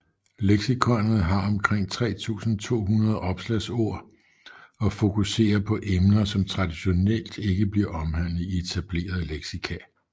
Leksikonet har omkring 3200 opslagsord og fokuserer på emner som traditionelt ikke bliver omhandlet i etablerede leksika